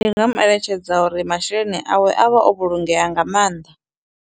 Ndi nga mu eletshedza uri masheleni awe a vha o vhulungea nga maanḓa.